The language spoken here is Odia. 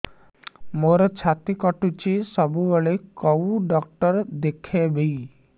ମୋର ଛାତି କଟୁଛି ସବୁବେଳେ କୋଉ ଡକ୍ଟର ଦେଖେବି